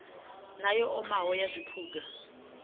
na yo omaho na zwiphuga